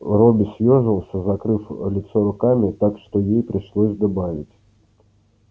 робби съёжился закрыв лицо руками так что ей пришлось добавить